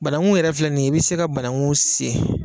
Banagun yɛrɛ filɛ nin ye i bɛ se ka banagun sen.